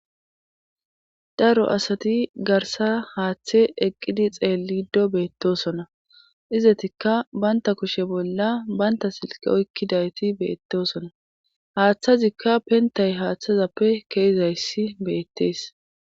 Daro asati garsa haaththe eqqidi xeelido beettosona izetikka baynta kushe bolla baynta silqe oykkidayti beettosona haaththazikka pentay haaththazappe keeizayssi beettees.